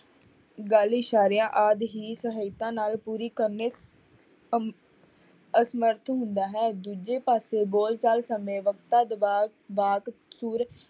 ਗੱਲ ਇਸ਼ਾਰਿਆਂ ਆਦਿ ਹੀ ਸਹਾਇਤਾ ਨਾਲ ਪੂਰੀ ਕਰਨੇ ਅਮ~ ਅਸਮਰਥ ਹੁੰਦਾ ਹੈ, ਦੂਜੇ ਪਾਸੇ ਬੋਲਚਾਲ ਸਮੇਂ ਵਾਕ, ਸੁਰ